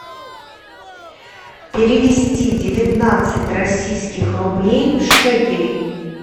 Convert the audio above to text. перевести девятнадцать российских рублей в шекели